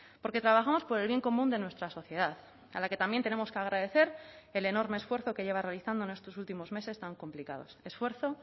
porque trabajamos por el bien común de nuestra sociedad a la que también tenemos que agradecer el enorme esfuerzo que lleva realizando en estos últimos meses tan complicados esfuerzo